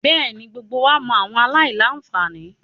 Bẹẹni, gbogbo wa mọ awọn alailanfani